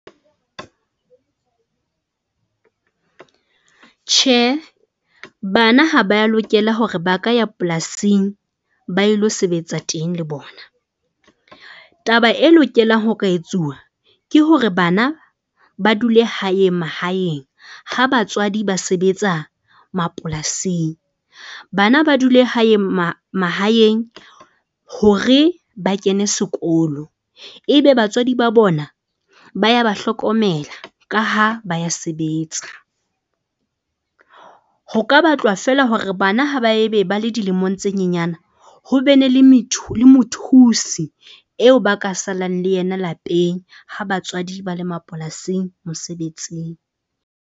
Tjhe, bana ha ba lokela hore ba ka ya polasing ba ilo sebetsa teng le bona. taba e lokelang ho ka etsuwa ke hore bana ba dule hae mahaeng. Ha batswadi ba sebetsa mapolasing, bana ba dule hae mahaeng hore ba kene sekolo. Ebe batswadi ba bona ba ya ba hlokomela ka ha ba ya sebetsa. Ho ka batlwa feela hore bana ha ba e be ba le dilemong tse nyenyana ho be ne le le mothusi eo ba ka salang le yena lapeng ha batswadi ba le mapolasing mosebetsing.